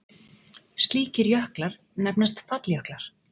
Slíkir jöklar nefnast falljöklar.